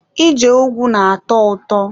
Ije ùgwù na-atọ ụtọ.